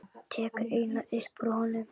Tekur eina upp úr honum.